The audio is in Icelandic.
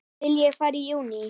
Vil ég fara í júní?